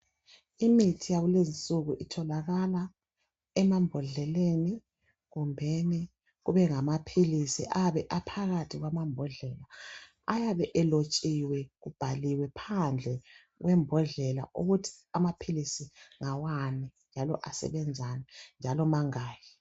Imithi yakulezinsuku itholakala emambodleleni kumbeni kubengamaphilisi ayabe aphakathi kwamambodlela. Ayabe elotshiwe kubhaliwe phandle kwembodlela ukuthi amaphilisi ngawani njalo asebenzani njalo mangaki.